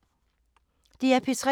DR P3